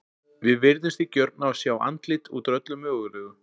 Við virðumst því gjörn á að sjá andlit út úr öllu mögulegu.